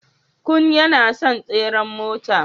Kun yana son tseren mota.